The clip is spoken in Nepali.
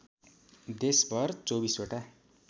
देशभर २४ वटा